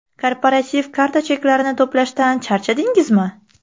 Korporativ karta cheklarini to‘plashdan charchadingizmi?